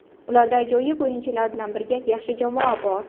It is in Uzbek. Ularda ajoyib o‘yinchilar bilan birga yaxshi jamoa bor.